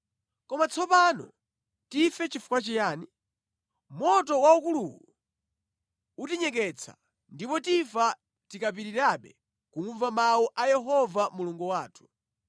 Koma tsopano tife chifukwa chiyani? Moto waukuluwu utinyeketsa, ndipo tifa tikapitirirabe kumva mawu a Yehova Mulungu wathu.